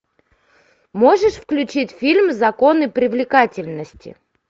можешь включить фильм законы привлекательности